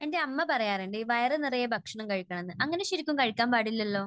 എന്റെ അമ്മ പറയാറുണ്ട്, ഈ വയർ നിറയെ ഭക്ഷണം കഴിക്കണമെന്ന്. അങ്ങനെ ശരിക്കും കഴിക്കാൻ പാടില്ലല്ലോ.